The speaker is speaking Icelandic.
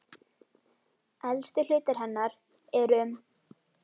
Elstu hlutar hennar eru um